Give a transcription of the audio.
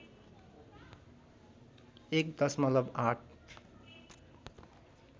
१ दशमलव ८